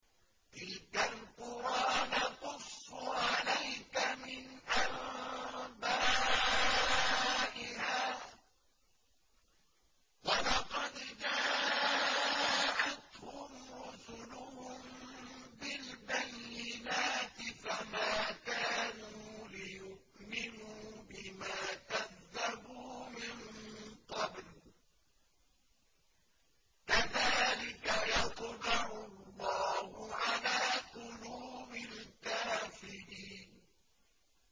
تِلْكَ الْقُرَىٰ نَقُصُّ عَلَيْكَ مِنْ أَنبَائِهَا ۚ وَلَقَدْ جَاءَتْهُمْ رُسُلُهُم بِالْبَيِّنَاتِ فَمَا كَانُوا لِيُؤْمِنُوا بِمَا كَذَّبُوا مِن قَبْلُ ۚ كَذَٰلِكَ يَطْبَعُ اللَّهُ عَلَىٰ قُلُوبِ الْكَافِرِينَ